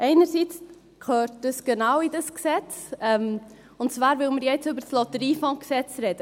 Einerseits gehört das genau in dieses Gesetz, und zwar, weil wir ja jetzt über das Lotteriegesetz (LotG) sprechen.